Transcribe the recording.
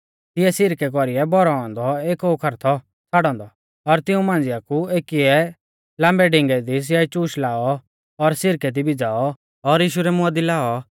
तिऐ सिरकै कौरीऐ भौरौ औन्दौ एक ओखर थौ छ़ाड़ौ औन्दौ और तिंऊ मांझ़िया कु एकीऐ लाम्बै डिंगै दी स्याइचूश लाऔ और सिरकै दी भिज़ाऔ और यीशु रै मुंआ दी लाऔ